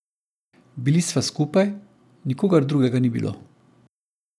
Bili sva skupaj, nikogar drugega ni bilo.